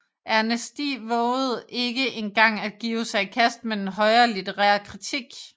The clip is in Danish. Ernesti vovede ikke engang at give sig i kast med den højere litterære kritik